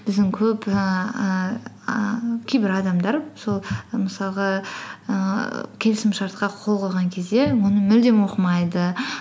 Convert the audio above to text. біздің көп ііі кейбір адамдар сол мысалғы ііі келісімшартқа қол қойған кезде оны мүлдем оқымайды